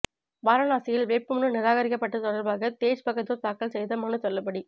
வாரணாசியில் வேட்புமனு நிராகரிக்கப்பட்டது தொடர்பாக தேஜ் பகதூர் தாக்கல் செய்த மனு தள்ளுபடி